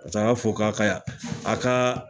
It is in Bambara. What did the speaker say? paseke a b'a fɔ k'a y'a a kaa